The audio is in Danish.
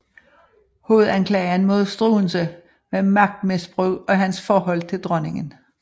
Hovedanklagen mod Struensee var magtmisbrug og hans forhold til dronningen